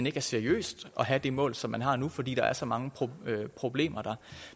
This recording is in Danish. ikke er seriøst at have det mål som man har nu fordi der er så mange problemer der